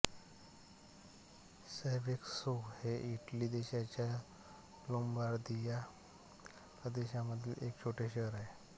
Seveso हे Italy देशाच्या Lombardia प्रदेशामधील एक छोटे शहर आहे